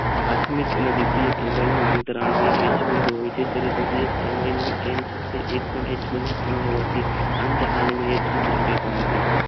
પાર્થીમિક અને અતારણીય બિદું હોય છે તદુપરાંત એમઈમાં ન હોવાથી અંત રેણીય હમિએ હોય છે